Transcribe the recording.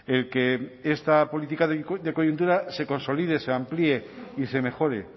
el que esta política de coyuntura se consolide se amplíe y se mejore